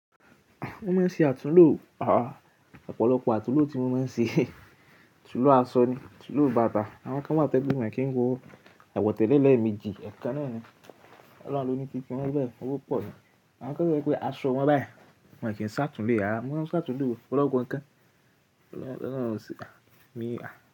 Mọ́ máa ń ṣe àtúnlù ọ̀ ọ́, ọ̀pọ̀lọpọ̀ àtúnlù tí mọ́ máa ń ṣe, àtúnlù aṣọ ni, àtúnlù bàtà. Àwọn kan wá to je pe won e kí n wo àwọ̀tẹ́lẹ̀ lẹ́ẹ̀méjì, ẹ̀kan náà ni, ọlọ́run ló ní tiwon bẹ́ẹ̀, owó pọ̀ ni. Àwọn kan wa to je wí pé aṣọ wọn báyìí, wọ́n kì í ṣàtún lo re, mo máa ń ṣàtúnlo ọpolopọ́ nǹkan. Ọlọ́run sí, à mi ìwà.